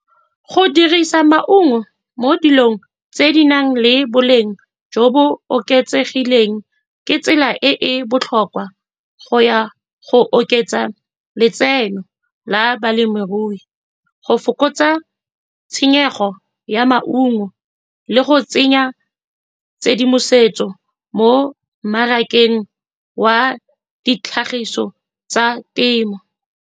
Go dirisa maungo mo dilong tse di nang le boleng jo bo oketsegileng, ke tsela e e botlhokwa go ya go oketsa letseno la balemirui, go fokotsa tshenyego ya maungo, le go tsenya tshedimosetso mo mmarakeng wa ditlhagiso tsa temo.